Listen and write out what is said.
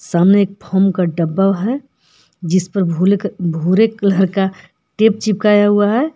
सामने एक फोम का डब्बा है जिस पर भूले भुरे कलर का टेप चिपकाए हुआ है।